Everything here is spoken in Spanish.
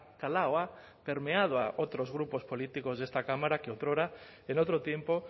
calado ha permeado a otros grupos políticos de esta cámara que otrora en otro tiempo